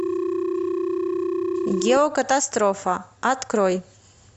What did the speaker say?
геокатастрофа открой